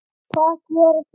Hvernig hugsar þú um húðina?